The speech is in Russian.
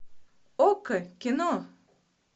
окко кино